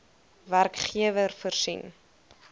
werkgewer voorsien